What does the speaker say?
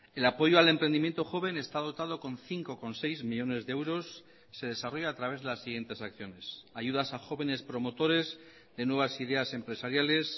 el apoyo al emprendimiento joven está dotado con cinco coma seis millónes de euros se desarrolla a través de las siguientes acciones ayudas a jóvenes promotores de nuevas ideas empresariales